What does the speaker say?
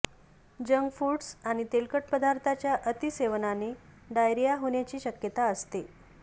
junk foods आणि तेलकट पदार्थांच्या अती सेवनाने डायरिया होण्याची शक्यता असते